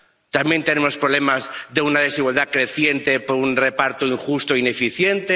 También tenemos problemas de una desigualdad creciente por un reparto injusto e ineficiente.